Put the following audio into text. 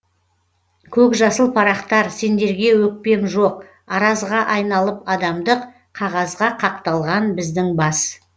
көкжасыл парақтар сендерге өкпем жоқ аразға айналып адамдық қағазға қақталған біздің бас